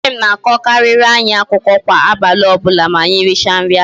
Nne m na-akọkarịrị anyị akụkọ kwa abalị ọbụla ma anyị richa nri abalị